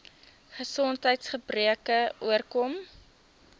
gesondheids gebreke oorkom